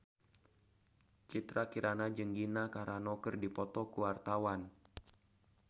Citra Kirana jeung Gina Carano keur dipoto ku wartawan